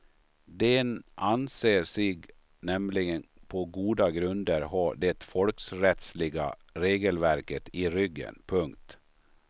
Den anser sig nämligen på goda grunder ha det folkrättsliga regelverket i ryggen. punkt